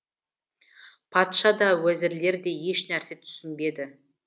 патша да уәзірлер де ешнәрсе түсінбеді